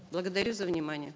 благодарю за внимание